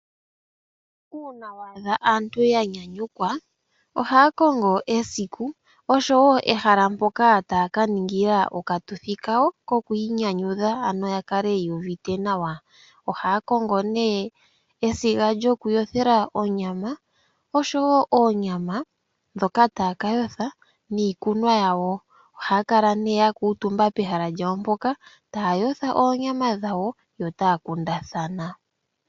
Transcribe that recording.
Uuna wa adha aantu ya nyanyukwa ohaa kongo esiku oshowo ehala mpoka taa ka ningila okatuthi kawo kokwiinyanyudha ano ya kale yuu uvite nawa ohaa kongo nee esiga lyoku yothela onyama oshowo oonyama dhoak taa ka yotha niikulya wo ohaa kala ya kuutumba pehala mpoka taa yotha oonyama dhawo yo otaa kundathana.